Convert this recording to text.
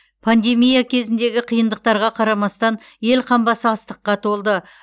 пандемия кезіндегі қиындықтарға қарамастан ел қамбасы астыққа толды